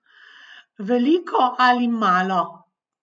Veliko ali malo?